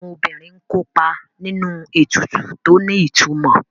Àwọn obìnrin ń kópa nínú ètùtù tó ní ìtumò